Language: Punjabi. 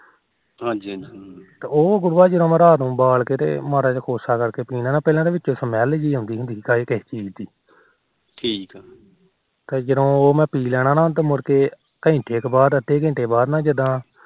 ਤੇ ਉਹ ਗੁਰੂਆ ਰਾਤ ਨੂੰ ਉਬਾਲ ਕੇ ਤੇ ਜਦੋ ਕੋਸਾ ਕਰਕੇ ਪੀਣਾ ਤਾ ਵਿੱਚ smell ਜੀ ਆਉਂਦੀ ਸੀ ਖਰੇ ਕਿਸ ਚੀਜ ਦੀ ਠੀਕ ਤੇ ਜਦੋਂ ਉਹ ਮੈ ਪੀ ਲੈਣਾ ਤੇ ਘੰਟੇ ਕ ਬਾਅਦ ਅੱਧੇ ਘੰਟੇ ਬਾਅਦ ਜਿਦਾ